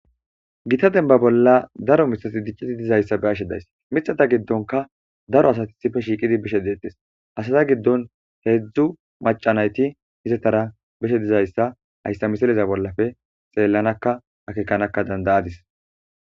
gita denba bolla daro miththati diccidi dizayssa ba'ashe days mixata giddonka daro asati isife shiiqidi bishe deettes asaza giddon heedzdzu maca nayti izettara beshe dizayssa hayssa misileza bollafe xeellanaka akekanaka danda'adis